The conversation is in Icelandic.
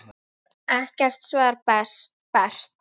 Ekkert svar barst.